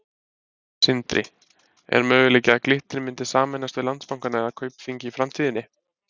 Sindri: Er möguleiki að Glitnir myndi sameinast við Landsbankann eða Kaupþing í framtíðinni?